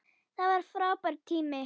Það var frábær tími.